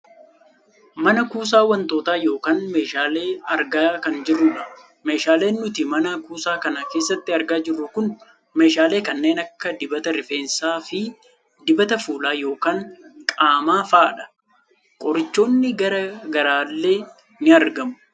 mana kuusaa wantootaa yookaan meeshaalee argaa kan jirrudha. meeshaaleen nuti mana kuusaa kana keessatti argaa jirru kun meeshaalee kanneen akka dibata rifeensaafi dibata fuulaa yookaan qaamaa fa'adha. qorichoonni gara garaallee ni argamu.